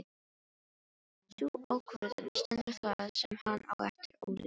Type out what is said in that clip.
Sú ákvörðun stendur það sem hann á eftir ólifað.